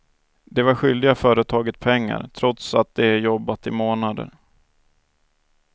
De var skyldiga företaget pengar, trots att de jobbat i månader.